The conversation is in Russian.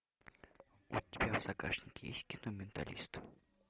у тебя в загашнике есть кино менталист